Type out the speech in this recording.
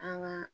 An ka